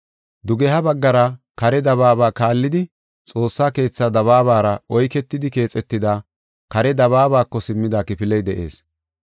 Dugeha baggara kare dabaaba kaallidi Xoossa keethaa dabaabara oyketidi keexetida kare dabaabako simmida kifiley de7ees.